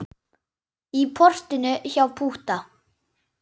Í portinu hjá Pútta.